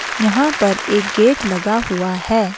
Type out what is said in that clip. यहां पर एक गेट लगा हुआ है।